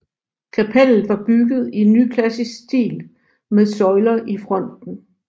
Kapellet var bygget i nyklassisk stil med søjler i fronten